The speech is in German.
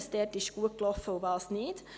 Was lief gut und was nicht?